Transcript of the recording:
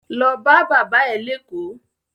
Lo bá bàbá ẹ̀ léÈkó!